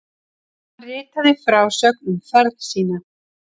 hann ritaði frásögn um ferð sína